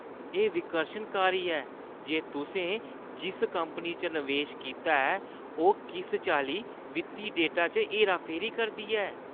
एह् विकर्शनकारी ऐ जे तुसें जिस कंपनी च नवेश कीता ऐ, ओह् किस चाल्ली वित्ती डेटा च हेराफेरी करदी ऐ।